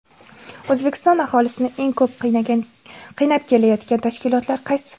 O‘zbekiston aholisini eng ko‘p qiynab kelayotgan tashkilotlar qaysi?.